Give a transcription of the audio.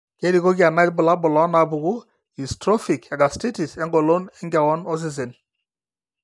kerikoki ena irbulabul onaapuku eatrophic egastiritis engolon enkewon osesen.